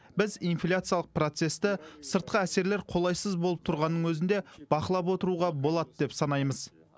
біз инфляциялық процесті сыртқы әсерлер қолайсыз болып тұрғанның өзінде бақылап отыруға болады деп санаймыз